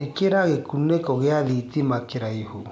ĩkĩra gikuniko gia thitima kuraihu